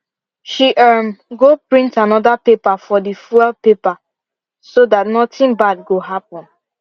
she um go print another paper for the fuel paper so that nothing bad go happen